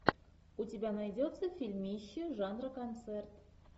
у тебя найдется фильмище жанра концерт